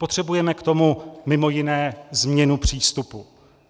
Potřebujeme k tomu mimo jiné změnu přístupu.